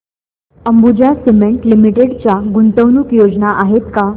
Ambuja cement limited च्या गुंतवणूक योजना आहेत का